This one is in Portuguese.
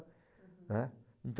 né? Então